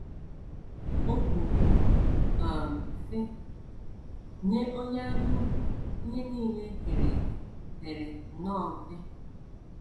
O kwuru, um sị: “ Nye onye anyaukwu ihe nile e kere eke pere nnọọ mpe. ”